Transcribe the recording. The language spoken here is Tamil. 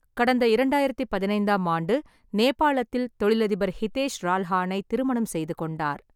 கடந்த இரண்டாயிரத்தி பதினைந்தாம் ஆண்டு நேபாளத்தில் தொழிலதிபர் ஹிதேஷ் ரால்ஹானை திருமணம் செய்து கொண்டார்.